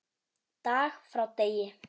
Dag frá degi.